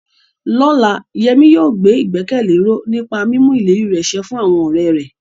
Lọ́la, Yemi yóò gbé ìgbẹ́kẹ̀lé ró nípa mímú ìlérí rẹ̀ ṣẹ fún àwọn ọ̀rẹ́ rẹ̀.